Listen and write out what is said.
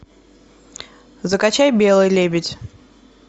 закачай белый лебедь